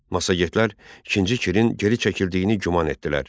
Massagetlər İkinci Kirin geri çəkildiyini güman etdilər.